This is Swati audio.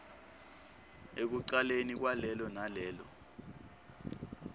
ekucaleni kwalelo nalelo